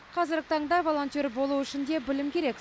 қазіргі таңда волонтер болу үшін де білім керек